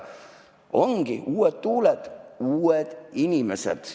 Ongi uued tuuled, uued inimesed.